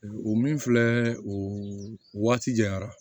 O min filɛ o waati janya